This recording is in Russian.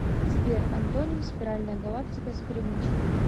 сбер антоним спиральная галактика с перемычкой